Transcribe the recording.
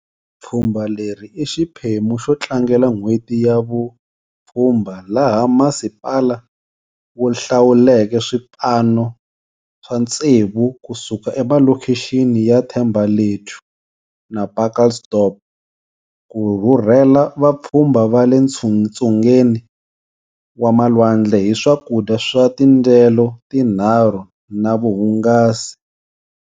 Pfhumba leri i xiphemu xo tlangela N'hweti ya Vupfhumba laha masipala wu hlawuleke swipano swa tsevu kusuka emalokixini ya Thembalethu na Pacaltsdorp ku rhurhela vapfhumba va le ntsungeni wa malwandle hi swakudya swa tindyelo tinharhu na vuhungasi.